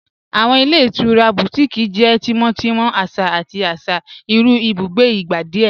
Awọn ilẹ̀ itura Bùtíkìí jẹ́ tímọ́tímọ̀, àṣà àti àṣà irú ìbùgbé ìgbà díẹ̀.